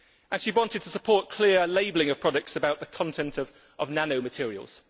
She wanted to support clear labelling of products about the content of nanomaterials.